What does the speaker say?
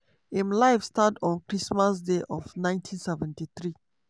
im life start on christmas day of 1973